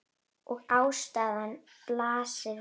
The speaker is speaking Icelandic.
Og ástæðan blasir við.